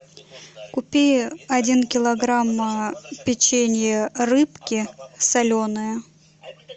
купи один килограмм печенье рыбки соленые